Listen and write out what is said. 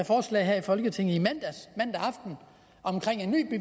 forslag her i folketinget mandag aften om